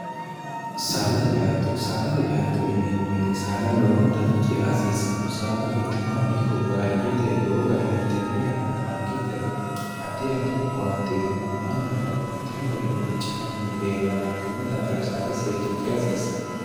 saadate ctto saadate catto ineemmowete saada lowontanni ce aasiissanno saada quchumahuno ikko baadiyyete lowo garinni tenne yannara mangitteno haddi addi owaanteyinn mannu babbaxxiho garinni ceanni leellanno kunni daafira saada seekkine ceaasiissanno